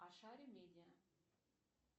ашари медиа